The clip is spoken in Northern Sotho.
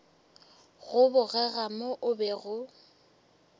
go bogega mo o bego